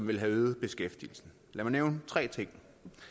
ville have øget beskæftigelsen lad mig nævne tre ting